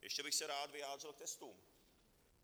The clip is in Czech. Ještě bych se rád vyjádřil k testům.